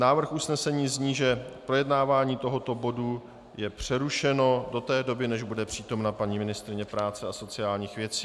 Návrh usnesení zní, že projednávání tohoto bodu je přerušeno do té doby, než bude přítomna paní ministryně práce a sociálních věcí.